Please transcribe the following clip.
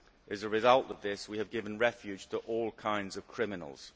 As a result of this we have given refuge to all kinds of criminals.